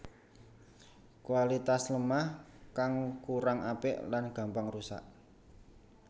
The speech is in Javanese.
Kualitas lemah kang kurang apik lan gampang rusak